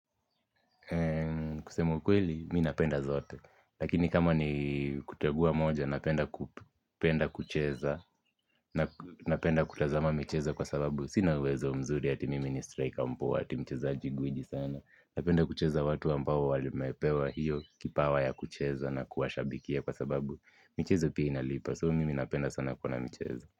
Kusema ukweli, mii napenda zote lakini kama ni kutegua moja, napenda kucheza napenda kutazama michezo kwa sababu sina uwezo mzuri, ati mimi ni strika mpoa, ati mcheza gwiji sana napenda kucheza watu ambao wali mepewa hiyo kipawa ya kucheza na kuwashabikia kwa sababu michezo pia inalipa, soo mimi napenda sana kuona michezo.